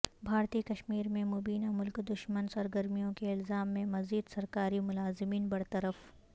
بھارتی کشمیر میں مبینہ ملک دشمن سرگرمیوں کے الزام میں مزید سرکاری ملازمین برطرف